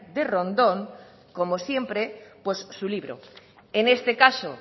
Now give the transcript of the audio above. de rondón como siempre pues su libro en este caso